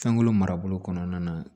Fɛnkolo marabolo kɔnɔna na